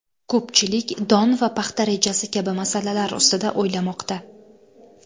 Ko‘pchilik don va paxta rejasi kabi masalalar ustida o‘ylamoqda.